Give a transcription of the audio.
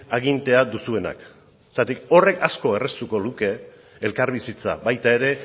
agintea duzuenak horrek asko erraztuko luke elkarbizitza baita ere